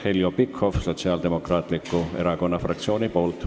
Heljo Pikhof Sotsiaaldemokraatliku Erakonna fraktsiooni nimel.